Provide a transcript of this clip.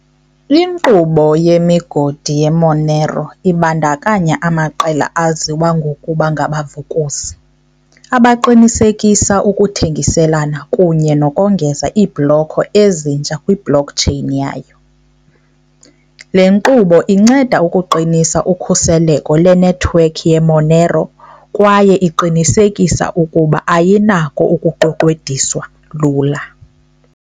Inkqubo yemigodi ye-Monero ibandakanya amaqela aziwa ngokuba ngabavukuzi, abaqinisekisa ukuthengiselana kunye nokongeza iibhloko ezintsha kwi-blockchain yayo. Le nkqubo inceda ukuqinisa ukhuseleko lwenethiwekhi ye-Monero kwaye iqinisekisa ukuba ayinako ukuqweqwediswa lula.